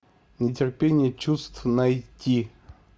нетерпение чувств найти